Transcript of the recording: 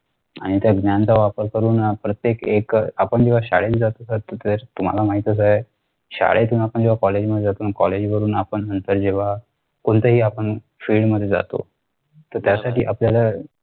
आणि त्या ज्ञानाचा वापर करून प्रत्येक एक अह आपण जेव्हा शाळेला जातो SIR तर तुम्हाला माहीतच आहे शाळेतून आपण जेव्हा college मध्ये college वरून आपण नंतर जेव्हा कोणत्याही आपण field मध्ये जातो तर त्यासाठी आपल्याला